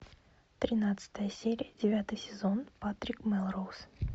тринадцатая серия девятый сезон патрик мелроуз